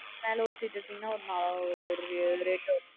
பின்னால ஒரு seat எடுத்தீங்கனா ஒரு நல்ல rate வரும்.